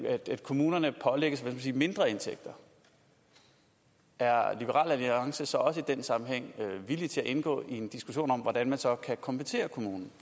at kommunerne pålægges mindre indtægter er liberal alliance så også i den sammenhæng villig til at indgå i en diskussion om hvordan man så kan kompensere kommunen